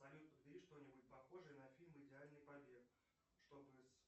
салют подбери что нибудь похожее на фильм идеальный побег чтобы с